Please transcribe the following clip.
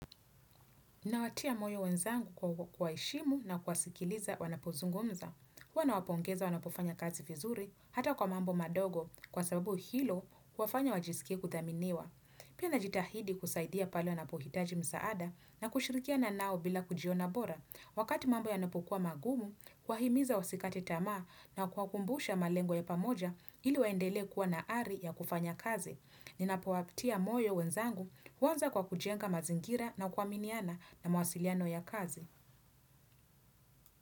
Ninawatia moyo wenzangu kwa kuwaheshimu na kuwasikiliza wanapozungumza. Huwa nawapongeza wanapofanya kazi vizuri, hata kwa mambo madogo, kwa sababu hilo huwafanya wajisikie kuthaminiwa. Pia najitahidi kusaidia pale wanapohitaji msaada na kushirikiana nao bila kujiona bora. Wakati mambo yanapokuwa magumu, kuwahimiza wasikate tamaa na kuwakumbusha malengo ya pamoja ili waendelee kuwa na ari ya kufanya kazi. Ninapowatia moyo wenzangu, huanza kwa kujenga mazingira na kuaminiana na mawasiliano ya kazi.